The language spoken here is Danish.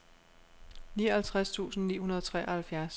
nioghalvtreds tusind ni hundrede og treoghalvfjerds